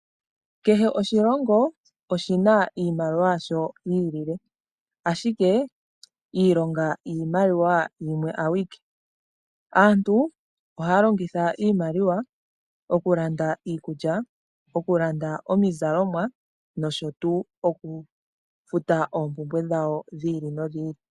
Kehe oshilongo oshina iimaliwa yasho yiilile, ashike iilonga yiimaliwa yimwe awike. Aantu ohaya longitha iimaliwa okulanda iikulya, okulanda iizalomwa nosho tuu okufuta oompumbwe dhawo dhi ili nodhi ili.